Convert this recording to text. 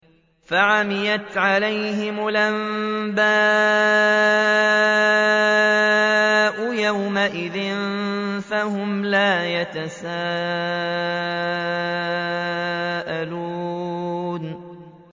فَعَمِيَتْ عَلَيْهِمُ الْأَنبَاءُ يَوْمَئِذٍ فَهُمْ لَا يَتَسَاءَلُونَ